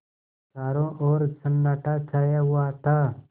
चारों ओर सन्नाटा छाया हुआ था